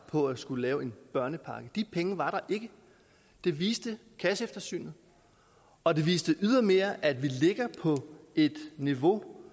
for at skulle lave en børnepakke de penge var der ikke det viste kasseeftersynet og det viste ydermere at vi ligger på et niveau